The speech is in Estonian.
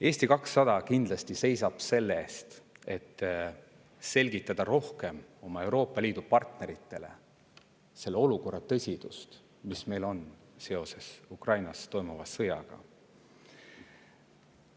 Eesti 200 seisab kindlasti selle eest, et selgitada oma Euroopa Liidu partneritele rohkem selle olukorra tõsidust, mis meil on seoses Ukrainas toimuva sõjaga.